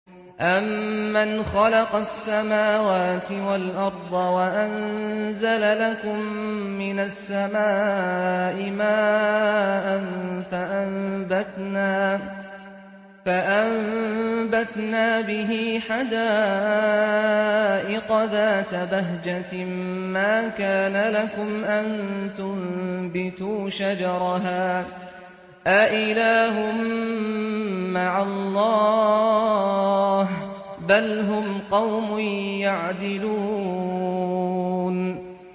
أَمَّنْ خَلَقَ السَّمَاوَاتِ وَالْأَرْضَ وَأَنزَلَ لَكُم مِّنَ السَّمَاءِ مَاءً فَأَنبَتْنَا بِهِ حَدَائِقَ ذَاتَ بَهْجَةٍ مَّا كَانَ لَكُمْ أَن تُنبِتُوا شَجَرَهَا ۗ أَإِلَٰهٌ مَّعَ اللَّهِ ۚ بَلْ هُمْ قَوْمٌ يَعْدِلُونَ